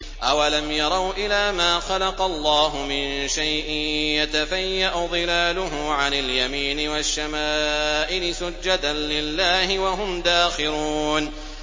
أَوَلَمْ يَرَوْا إِلَىٰ مَا خَلَقَ اللَّهُ مِن شَيْءٍ يَتَفَيَّأُ ظِلَالُهُ عَنِ الْيَمِينِ وَالشَّمَائِلِ سُجَّدًا لِّلَّهِ وَهُمْ دَاخِرُونَ